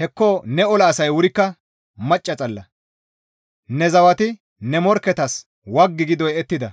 Hekko ne ola asay wurikka macca xalla! Ne zawati ne morkketas waggi gi doyettida;